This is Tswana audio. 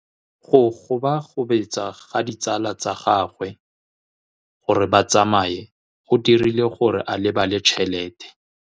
Go gobagobetsa ga ditsala tsa gagwe, gore ba tsamaye go dirile gore a lebale tšhelete.